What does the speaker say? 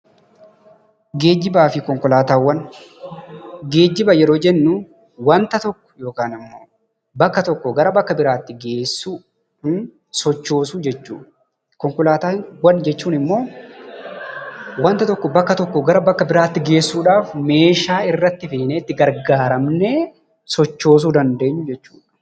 Geejjibaa fi Konkolaataawwan. Geejjiba yeroo jennu wanta tokko yookiin immoo bakka tokkoo bakka biraatti geessuu yookiin sochoosuu jechuu dha. Konkolaataawwan jechuun immoo wanta tokko gara wanta biraatti geessuudhaaf meeshaa irratti feenee itti gargaaramnee sochoosuu dandeenyu jechuu dha.